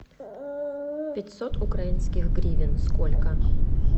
пятьсот украинских гривен сколько